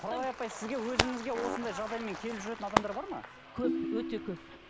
құралай апай сізге өзіңізге осындай жағдаймен келіп жүретін адамдар бар ма көп өте көп